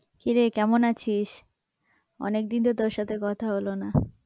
কি রে কেমন আছিস? অনেকদিন তো তোর সাথে কথা হলো না।